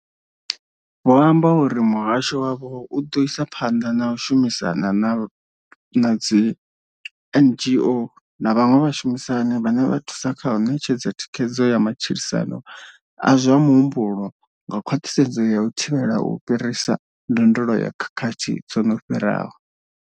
Vho amba uri muhasho wavho u ḓo isa phanḓa na u shumisana na dzi NGO na vhaṅwe vhashumisani vhane vha thusa kha u ṋetshedza thikhedzo ya matshilisano a zwa muhumbulo nga khwaṱhisedzo ya u thivhela u fhirisa ndondolo ya khakhathi dzo no fhiraho.